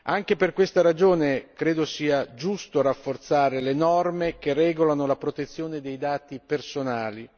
Anche per questa ragione credo sia giusto rafforzare le norme che regolano la protezione dei dati personali.